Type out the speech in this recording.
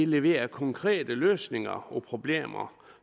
leverer konkrete løsninger på problemer